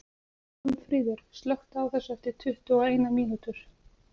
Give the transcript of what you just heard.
Pálmfríður, slökktu á þessu eftir tuttugu og eina mínútur.